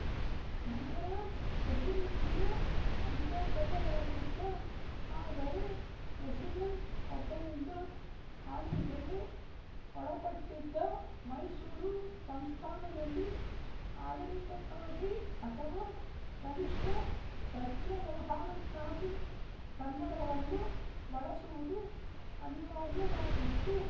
ಮದರಾಸ್ ಪ್ರೆಸಿಡೆನ್ಸಿಯ ಅಂತರ್ಗತವಾಗಿದ್ದ ಆದರೆ ರೆಸಿಡೆಂಟ್ ಒಬ್ಬರಿಂದ ಆಳ್ವಿಕೆಗೆ ಒಳಪಟ್ಟಿದ್ದ ಮೈಸೂರು ಸಂಸ್ಥಾನದಲ್ಲಿ ಆಡಳಿತಕ್ಕಾಗಿ ಅಥವಾ ಕನಿಶ್ಠ ಪತ್ರವ್ಯವಹಾರಕ್ಕಾಗಿ ಕನ್ನಡವನ್ನು ಬಳಸುವುದು ಅನಿವಾರ್ಯವಾಗಿತ್ತು